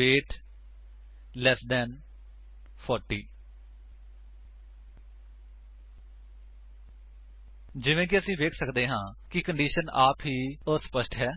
wait 4੦ ਤੋਂ ਘੱਟ ਜਿਵੇਂ ਕਿ ਅਸੀ ਵੇਖ ਸੱਕਦੇ ਹਾਂ ਕਿ ਕੰਡੀਸ਼ਨ ਆਪ ਹੀ ਅਸਪਸ਼ਟ ਹੈ